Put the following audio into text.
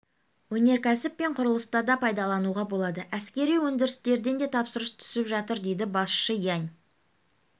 өнеркәсіп пен құрылыста да пайдалануға болады әскери өндірістерден де тапсырыс түсіп жатыр дейді басшысы ян